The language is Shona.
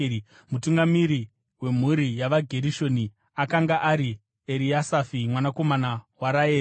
Mutungamiri wemhuri yavaGerishoni akanga ari Eriasafi mwanakomana waRaeri.